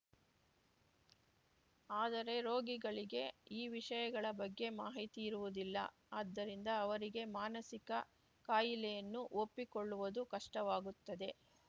ಆದರೆ ರೋಗಿಗಳಿಗೆ ಈ ವಿಷಯಗಳ ಬಗ್ಗೆ ಮಾಹಿತಿಯಿರುವುದಿಲ್ಲ ಆದ್ದರಿಂದ ಅವರಿಗೆ ಮಾನಸಿಕ ಕಾಯಿಲೆಯನ್ನು ಒಪ್ಪಿ ಕೊಳ್ಳುವುದು ಕಷ್ಟವಾಗುತ್ತದೆ